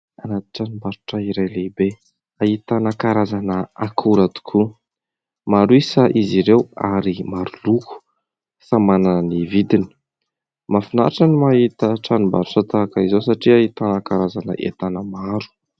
Anaty tranom-barotra iray lehibe, ahitana karazana akora tokoa. Maro isa izy ireo ary maro loko, samy manana ny vidiny. Mahafinaritra ny mahita tranom-barotra tahaka izao satria ahitana karazan'entana maro.